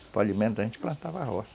Para alimentar, a gente plantava roça.